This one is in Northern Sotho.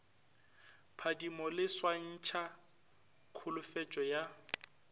phadimo le swantšha kholofetšo ya